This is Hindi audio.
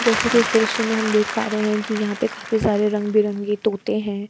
जैसे कि इस दृश्य में हम देख पा रहे है कि यहां पे काफी सारे रंग-बिरंगे तोते है।